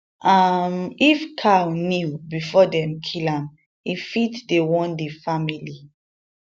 um if cow kneel before dem kill am e fit dey warn di family